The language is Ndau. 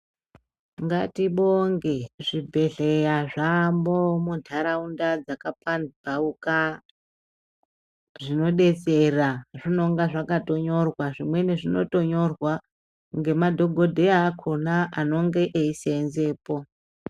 Ngatibonge mubhedhlera zvaamo munharaunda dzakapandauka zvinodetsera zvinonga zvakatonyorwa zvimweni zvinotonyorwa ngemadhokodheya akhona anonga eseenzepo.